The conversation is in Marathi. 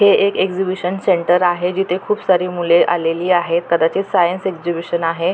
हे एक एक्झिबिशन सेंटर आहे जिथे खूप सारी मुले आलेली आहेत कदाचित सायन्स एक्झिबिशन आहे.